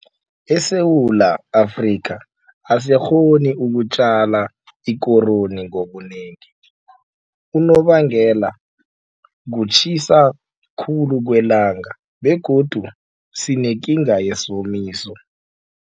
ESewula Afrika asikghoni ukutjala ikoroyi ngobunengi. Unobangela kutjhisa khulu kwelanga begodu sinekinga yisomiso.